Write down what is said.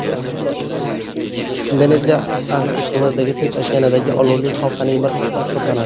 Indoneziya arxipelagi Tinch okeanidagi olovli halqaning bir qismi hisoblanadi.